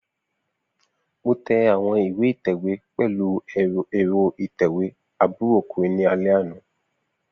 Mo tẹ awọn iwe ítẹ̀wé pẹlu ẹ́rọ ìtẹ́wé àbúrò okùnrin ni alẹ ana.